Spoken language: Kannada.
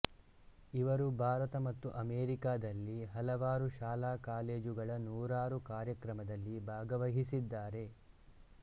ಇವರು ಭಾರತ ಮತ್ತು ಅಮೇರಿಕದಲ್ಲಿ ಹಲವಾರು ಶಾಲಾ ಕಾಲೇಜುಗಳ ನೂರಾರು ಕಾರ್ಯಕ್ರಮದಲ್ಲಿ ಭಾಗವಹಿಸಿದ್ದಾರೆ